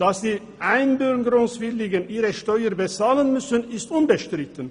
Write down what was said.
Dass die Einbürgerungswilligen ihre Steuern bezahlen müssen, ist unbestritten.